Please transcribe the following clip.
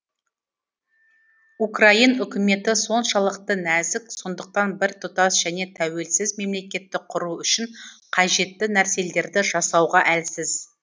украин үкіметі соншалықты нәзік сондықтан біртұтас және тәуелсіз мемлекетті құру үшін қажетті нәрселерді жасауға әлсіз